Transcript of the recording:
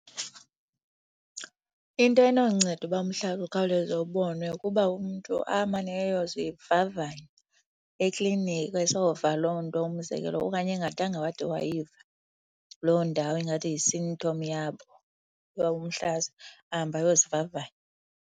Into enonceda uba umhlaza ukhawuleze ubonwe kukuba umntu amane eyozivavanya ekliniki esova loo nto, umzekelo. Okanye engadanga wade wayiva loo ndawo ingathi yi-symptom yabo, yawo umhlaza, ahambe ayozivavanya.